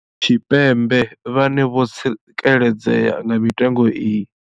Tshipembe vhane vho tsikeledzea nga mitengo iyi.